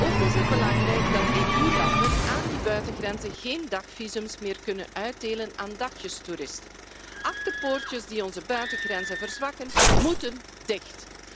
Ook is het belangrijk dat EU-landen aan die buitengrenzen geen dagvisums meer kunnen uitdelen aan dagjestoeristen. Achterpoortjes die onze buitengrenzen verzwakken, moeten dicht!